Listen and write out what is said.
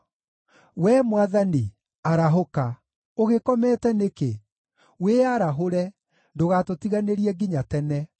Wee Mwathani, arahũka! Ũgĩkomete nĩkĩ? Wĩyarahũre! Ndũgatũtiganĩrie nginya tene.